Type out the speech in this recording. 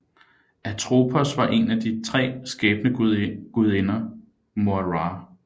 Atropos var en af de tre skæbnegudinger Moirer